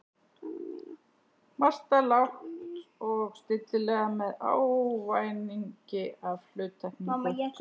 Marta lágt og stillilega með ávæningi af hluttekningu.